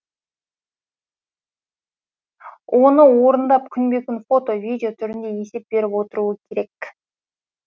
оны орындап күнбе күн фото видео түрінде есеп беріп отыруы керек